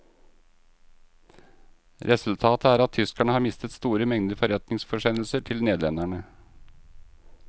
Resultatet er at tyskerne har mistet store mengder forretningsforsendelser til nederlenderne.